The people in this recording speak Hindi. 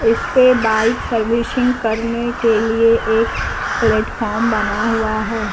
इस पे बाइक सर्विसिंग करने के लिए एक प्लेटफार्म बना हुआ है।